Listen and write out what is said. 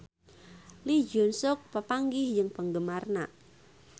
Lee Jeong Suk papanggih jeung penggemarna